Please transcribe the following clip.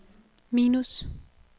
minus